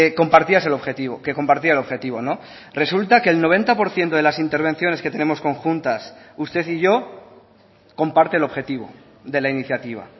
compartías el objetivo que compartía el objetivo resulta que el noventa por ciento de las intervenciones que tenemos conjuntas usted y yo comparte el objetivo de la iniciativa